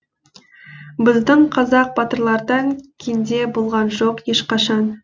біздің қазақ батырлардан кенде болған жоқ ешқашан